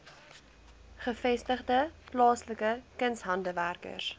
gevestigde plaaslike kunshandwerkers